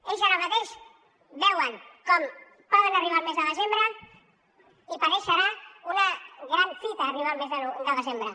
ells ara mateix veuen com poden arribar al mes de desembre i per ells serà una gran fita arribar al mes de desembre